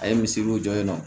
A ye misiriw jɔ yen nɔ